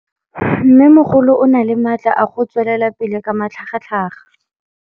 Mmêmogolo o na le matla a go tswelela pele ka matlhagatlhaga.